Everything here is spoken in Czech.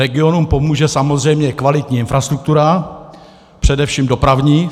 Regionům pomůže samozřejmě kvalitní infrastruktura, především dopravní.